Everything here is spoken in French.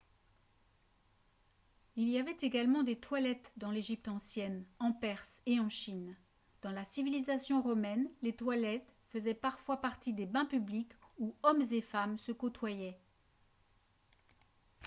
il y avait également des toilettes dans l'égypte ancienne en perse et en chine dans la civilisation romaine les toilettes faisaient parfois partie des bains publics où hommes et femmes se côtoyaient